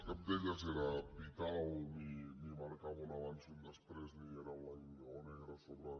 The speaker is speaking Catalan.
cap d’aquestes era vital ni marcava un abans i un després ni era blanc o negre sobre